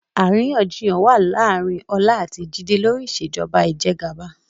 Àríyànjiyàn wá láàárín Ọlá àti Jide lórí Ìṣèjọba Ìjẹgàba